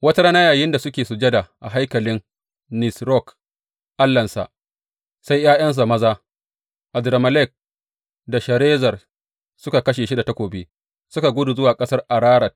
Wata rana yayinda yake sujada a haikalin Nisrok, allahnsa, sai ’ya’yansa maza, Adrammelek da Sharezer suka kashe shi da takobi, suka gudu zuwa ƙasar Ararat.